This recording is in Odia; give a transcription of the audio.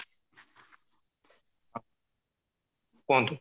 କୁହନ୍ତୁ